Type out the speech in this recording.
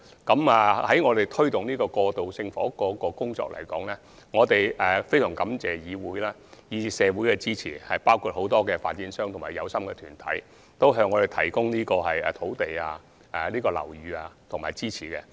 就推動過渡性房屋這項工作而言，我們非常感謝議會及社會的支持，包括很多發展商和有心團體，他們向我們提供土地、樓宇和支持。